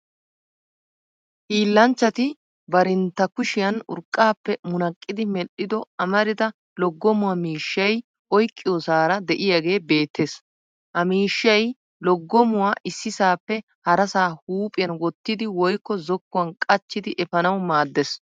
Hiilanchchati barintta kushiyan urqqaappe munaqqidi medhdhido amrida loggomuwaa miishshay oyqqiyoosaara de'iyaagee beettes. Ha miishshay loggomuwaa issisaappe harasaa huuphiyan wottidi woykko zokkuwan qachchidi efanawu maaddes.